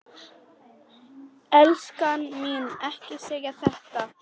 Elskan mín, ekki segja þetta!